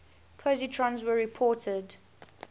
positrons were reported